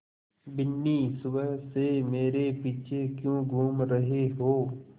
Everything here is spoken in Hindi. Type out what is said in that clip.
बिन्नी सुबह से मेरे पीछे क्यों घूम रहे हो